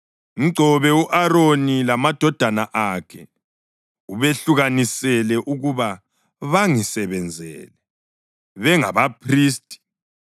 Mgcobe u-Aroni lamadodana akhe ubehlukanisele ukuba bangisebenzele bengabaphristi.